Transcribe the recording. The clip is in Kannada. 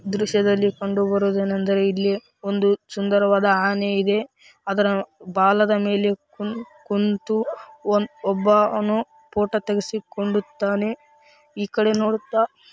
ಈ ದೃಶ್ಯದಲ್ಲಿ ಕಂಡುಬರುವುದು ಏನೆಂದರೆ ಇಲ್ಲಿ ಒಂದು ಸುಂದರವಾದ ಆನೆ ಇದೆ ಅದರ ಬಾಲದ ಮೇಲೆ ಕು ಕುಂತು ಒಬ್ಬ ಅವನು ಪೋಟೋ ತೆಗೆಸಿಕೊಳ್ಳುತ್ತಾನೆ ಈ ಕಡೆ ನೋಡುತ್ತಾ --